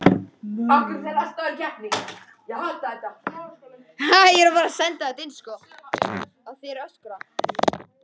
Rannsóknir beinast einnig að hugsanlegum röskunum á taugaboðefnum.